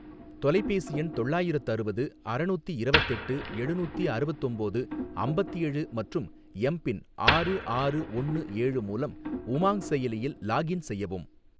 தொலைபேசி எண் தொள்ளாயிரத்தறுவது அறநூத்தி இரவத்தெட்டு எழுநூத்தி அறுவத்தொம்போது அம்பத்தேழு மற்றும் எம் பின் ஆறு ஆறு ஒன்னு ஏழு மூலம் உமாங் செயலியில் லாக்இன் செய்யவும்